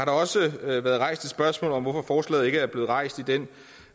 også været rejst et spørgsmål om hvorfor forslaget ikke er blevet rejst i den